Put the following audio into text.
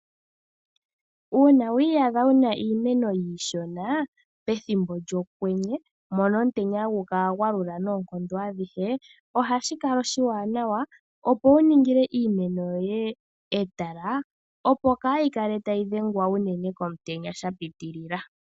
Uuna wi iyadha wu na iimeno iishona pethimbo lyokwenye mpono omutenya hagu kala gwa lula noonkondo adhihe, ohashi kala oshiwanawa wu ningile iimeno yoye etala, opo iimeno yoye kaayi kale tayi dhengwa unene komutenya sha pitilila.